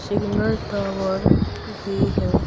Signal tower भी है।